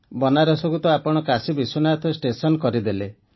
ବନାରସକୁ ତ ଆପଣ କାଶୀ ବିଶ୍ୱନାଥ ଷ୍ଟେସନ କରିଦେଲେ